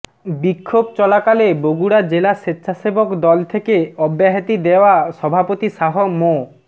বিক্ষোভ চলাকালে বগুড়া জেলা স্বেচ্ছাসেবক দল থেকে অব্যাহতি দেওয়া সভাপতি শাহ মো